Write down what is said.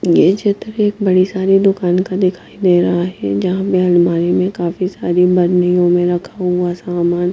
ये चित्र एक बड़ी सारी दुकान का दिखाई दे रहा है जहां में अलमारी योंमें काफी सारी बर्नियों में रखा हुआ सामान है।